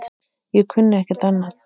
Ég kunni ekkert annað.